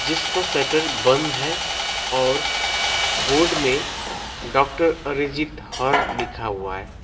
इसका शटर बंद है और बोर्ड में डॉक्टर अरिजीत हर लिखा हुआ है।